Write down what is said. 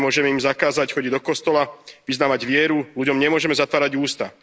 Nemôžeme im zakázať chodiť do kostola, vyznávať vieru, ľuďom nemôžeme zatvárať ústa.